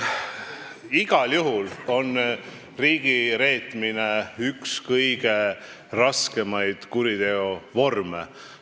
Igal juhul on riigireetmine üks raskemaid kuriteovorme.